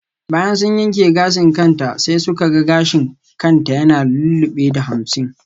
Bayan sun yanke gashin kanta sai suka ga gashin kan ta ya lullube da damshi.